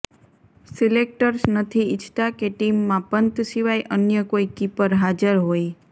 selectors નથી ઇચ્છતા કે ટીમમાં પંત સિવાય અન્ય કોઈ કીપર હાજર હોય